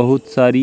बहुत सारी--